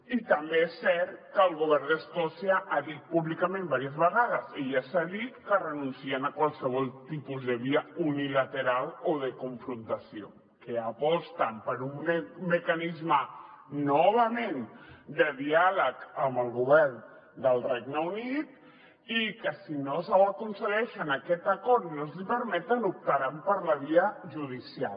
i també és cert que el govern d’escòcia ha dit públicament diverses vegades i ja s’ha dit que renuncien a qualsevol tipus de via unilateral o de confrontació que aposten per un mecanisme novament de diàleg amb el govern del regne unit i que si no ho aconsegueixen aquest acord no els hi permeten optaran per la via judicial